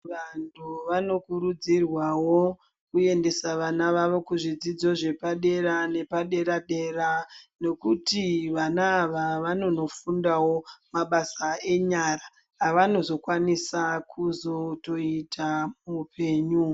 Vantu vanokurudzirwawo kuendeswa vana vavo kuzvidzidzo zvepadera nepadera dera nokuti vana ava vanonofundawo mabasa enyara avanozokwanisa kuzotoita muhupenyu.